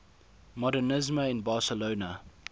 modernisme in barcelona